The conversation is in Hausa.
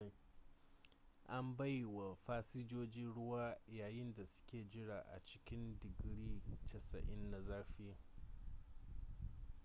an bai wa fasinjoji ruwa yayin da suke jira a cikin didgiri 90 na zafi